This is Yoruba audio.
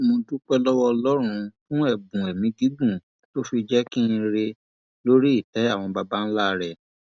mo dúpẹ lọwọ ọlọrun fún ẹbùn ẹmí gígùn tó fi jinńkí rẹ lórí ìtẹ àwọn babańlá rẹ